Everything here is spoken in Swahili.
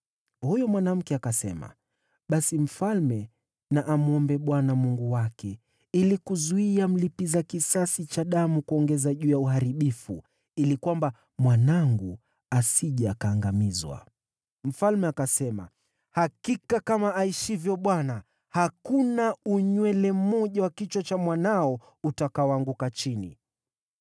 Huyo mwanamke akasema, “Basi mfalme na amwombe Bwana Mungu wake ili kuzuia mlipiza kisasi cha damu kuongeza juu ya uharibifu, ili kwamba mwanangu asije akaangamizwa.” Mfalme akasema, “Hakika kama aishivyo Bwana , hakuna unywele mmoja wa kichwa cha mwanao utakaoanguka chini.”